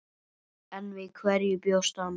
En við hverju bjóst hann?